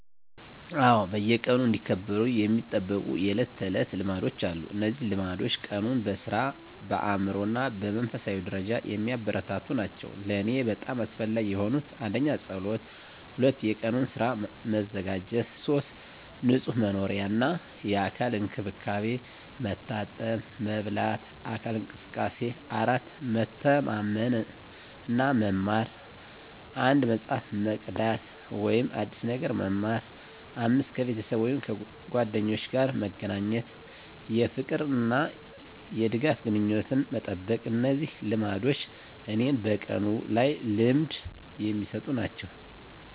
አዎ፣ በየቀኑ እንዲከበሩ የሚጠበቁ የዕለት ተዕለት ልማዶች አሉ። እነዚህ ልማዶች ቀኑን በሥራ፣ በአእምሮ እና በመንፈሳዊ ደረጃ የሚያበረታቱ ናቸው። ለእኔ በጣም አስፈላጊ የሆኑት: 1. ጸሎት 2. የቀኑን ሥራ መዘጋጀት 3. ንጹህ መኖሪያ እና የአካል እንክብካቤ፣ መታጠብ፣ መበላት፣ አካል እንቅስቃሴ። 4. መተማመን እና መማር፣ አንድ መጽሐፍ መቅዳት ወይም አዲስ ነገር መማር። 5. ከቤተሰብ ወይም ጓደኞች ጋር መገናኘት፣ የፍቅር እና የድጋፍ ግንኙነትን መጠበቅ። እነዚህ ልማዶች እኔን በቀኑ ላይ ልምድ የሚሰጡ ናቸው።